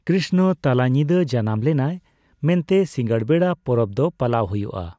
ᱠᱨᱤᱥᱱᱚ ᱛᱟᱞᱟᱧᱤᱫᱟᱹ ᱡᱟᱱᱟᱢ ᱞᱮᱱᱟᱭ ᱢᱮ ᱱᱛᱮ ᱥᱤᱸᱜᱟᱹᱲ ᱵᱮᱲᱟ ᱯᱚᱨᱚᱵᱽ ᱫᱚ ᱯᱟᱞᱟᱣ ᱦᱩᱭᱩᱜᱼᱟ ᱾